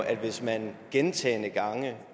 er hvis man gentagne gange